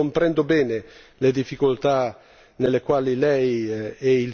nelle quali lei e il Servizio di azione esterna si stanno muovendo.